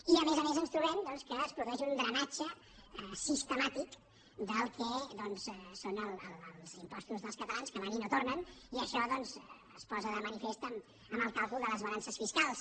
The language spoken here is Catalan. i a més a més ens trobem que es produeix un drenatge sistemàtic del que són els impostos dels catalans que se’n van i no tornen i això es posa de manifest amb el càlcul de les balances fiscals